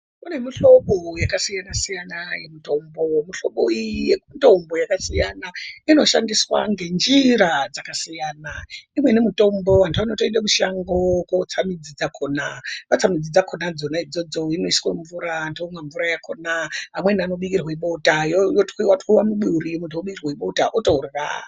Kune mihlobo yakasiyana siyana yemutombo, mihlobo iyi yemutombo yakasiyana inoshandiswa ngenjira dzakasiyana, imweni mitombo vantu vanotoenda mushango kotsa midzi dzakona vatsa midzi dzakona voisa mumvura vantu bomwa mbura yakona vamweni vanobikirwe bota otwiwe twiwe muduri otorya.